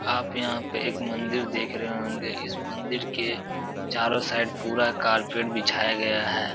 आप यहाँ पे एक मंदिर देख रहे होंगे। इस मंदिर के चारों साइड पूरा कार्पेट बिछाया गया है।